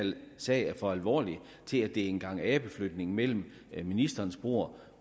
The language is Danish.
sag er for alvorlig til at blive en gang abeflytning mellem ministerens bord